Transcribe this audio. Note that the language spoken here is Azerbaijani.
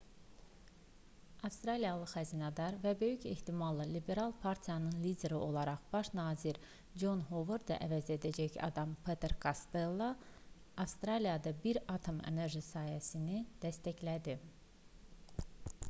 avstraliyalı xəzinədar və böyük ehtimalla liberal partiyanın lideri olaraq baş nazir con hovardı əvəz edəcək adam peter kostello avstraliyada bir atom enerji sənayesini dəstəklədi